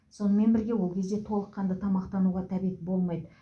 сонымен бірге ол кезде толыққанды тамақтануға тәбет болмайды